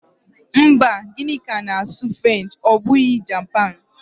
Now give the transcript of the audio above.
Mba, Gịnịka na-asụ French ọ bụghị Japan.